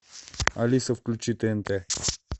алиса включи тнт